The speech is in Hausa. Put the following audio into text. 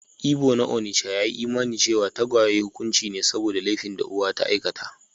Ibo na onitsha ya yi imanin cewa tagwaye hukunci ne saboda laifin da uwa ta aikata.